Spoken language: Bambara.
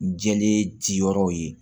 Jɛlen ci yɔrɔw ye